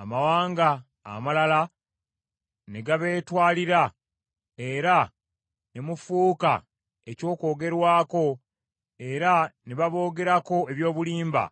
amawanga amalala ne gabeetwalira, era ne mufuuka eky’okwogerwako era ne baboogerako eby’obulimba,